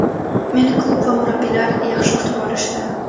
Meni klub va murabbiylar yaxshi kutib olishdi.